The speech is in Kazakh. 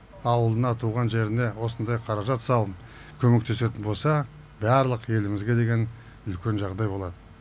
ауылына туған жеріне осындай қаражат салып көмектесетін болса барлық елімізге деген үлкен жағдай болады